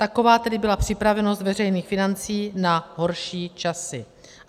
Taková tedy byla připravenost veřejných financí na horší časy.